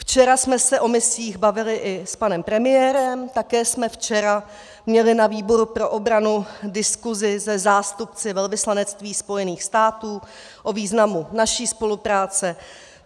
Včera jsme se o misích bavili i s panem premiérem, také jsme včera měli na výboru pro obranu diskuzi se zástupci velvyslanectví Spojených států o významu naší spolupráce.